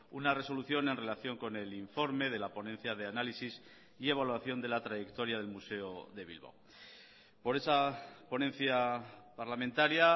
una resolución en relación con el informe de la ponencia de análisis y evaluación de la trayectoria del museo de bilbao por esa ponencia parlamentaria